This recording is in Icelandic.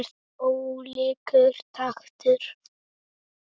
Ólíkur taktur.